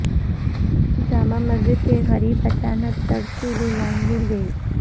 جامع مسجد کے قریب اچانک ترسیلی لائن گر گئی